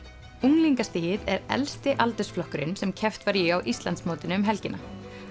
unglingastigið er elsti aldursflokkurinn sem keppt var í á Íslandsmótinu um helgina